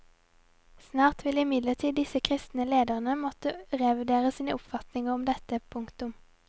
Snart vil imidlertid disse kristne ledere måtte revurdere sine oppfatninger om dette. punktum